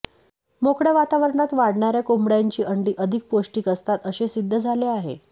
मोकळय़ा वातावरणात वाढणाऱया कोंबडय़ांची अंडी अधिक पौष्टिक असतात असे सिद्ध झाले आहे